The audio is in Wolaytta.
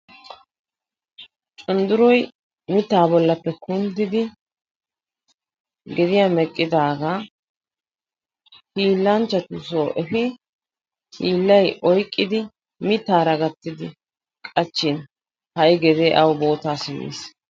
undurroy mitaa bolappe kunddidi gediya meqqidaga hiilanchchatusoo efin hiilay oyqqidi mitaara gatidi qachin ha'i gedee awu guuttaa simiis.